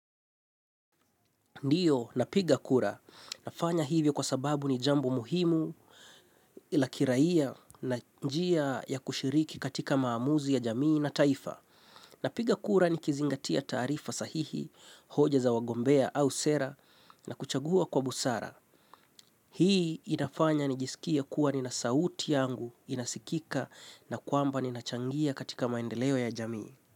Ndiyo, napiga kura. Nafanya hivyo kwa sababu ni jambo muhimu lakiraia na njia ya kushiriki katika maamuzi ya jamii na taifa. Napiga kura ni kizingatia taarifa sahihi, hoja za wagombea au sera na kuchagua kwa busara. Hii inafanya nijisikie kuwa ni nasauti yangu, inasikika na kwamba ninachangia katika maendeleo ya jamii.